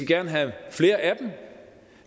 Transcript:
gerne have flere af dem